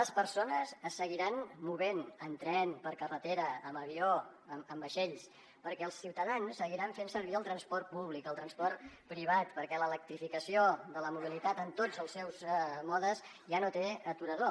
les persones es seguiran movent en tren per carretera amb avió amb vaixells perquè els ciutadans seguiran fent servir el transport públic el transport privat perquè l’electrificació de la mobilitat en tots els seus modes ja no té aturador